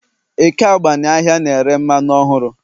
Eke agbani ahịa na-ere mmanụ ọhụrụ